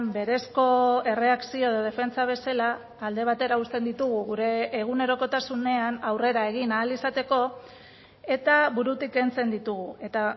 berezko erreakzio edo defentsa bezala alde batera uzten ditugu gure egunerokotasunean aurrera egin ahal izateko eta burutik kentzen ditugu eta